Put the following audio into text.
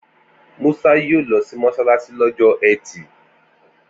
Musa yóò lọ sí mọ́ṣáláṣí lọ́jọ́ ẹtì